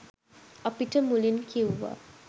අපිට මුලින් කිව්වා